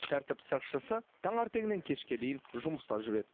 тәртіп сақшысы таңертеңнен кешке дейін жұмыста жүреді